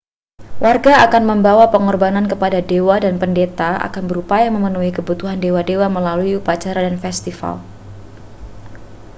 warga akan membawa pengorbanan kepada dewa dan pendeta akan berupaya memenuhi kebutuhan dewa-dewa melalui upacara dan festival